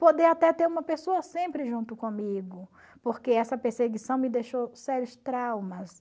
Poder até ter uma pessoa sempre junto comigo, porque essa perseguição me deixou sérios traumas.